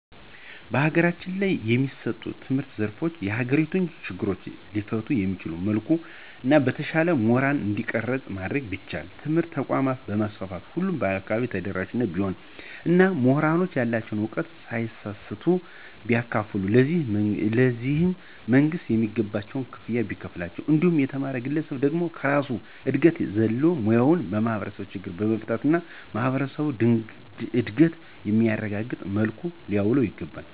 በሀገራችን የሚሰጡ የትምህርት ዘርፎች የሀገሪቱን ችግሮች ሊፈቱ በሚችል መልኩ እና በተሻለ ሙሁራን እንዲቀረጽ ማድረግ ቢቻል. ትምህርት ተቋማትን በማስፋፋት ሁሉም አካባቢ ተደራሽ ቢሆን እና ሙሁራንም ያላቸዉን ዕውቀት ሳይሰስቱ ቢያካፉሉ ,ለዚህም መንግስትም የሚገባቸውን ክፍያ ቢከፍላቸው እንዲሁም የተማረዉ ግለሰብ ደግሞ ከራሱ እድገት በዘለለ ሙያዉን የማህበረሰብ ችግሮችን በመፍታት እና የማህበረሰቡን እድገት በሚያረጋግጥ መልኩ ሊያዉለዉ ይገባል።